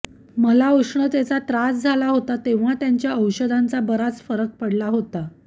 मला ऊष्णतेचा त्रास झाला होता तेव्हा त्यांच्या औषधांचा बराच फरक पडला होता